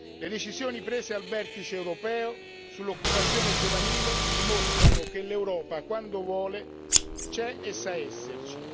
Le decisioni prese al vertice europeo sull'occupazione giovanile dimostrano che l'Europa quando vuole c'è e sa esserci.